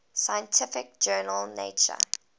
scientific journal nature